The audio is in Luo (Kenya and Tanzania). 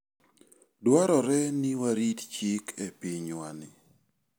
Dwarore ni warit chik e pinywani.